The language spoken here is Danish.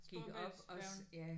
Storebæltsfærgen?